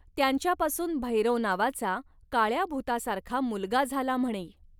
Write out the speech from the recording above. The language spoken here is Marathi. त्यांच्यापासून 'भैरव' नावाचा, काळया भुतासारखा मुलगा झाला म्हणे